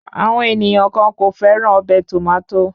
Àwọn ènìyàn kàn kò fẹ́ràn ọbẹ̀ Tòmátò